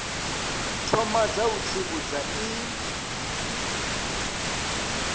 thoma dza u tsivhudza i